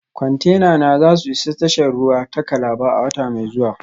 Kwantenana za su isa tashar ruwa ta Calabar a wata mai zuwa